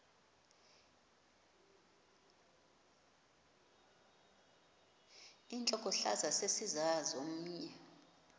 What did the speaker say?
intlokohlaza sesisaz omny